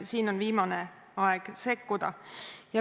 Siin on viimane aeg sekkuda.